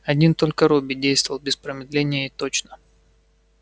один только робби действовал без промедления и точно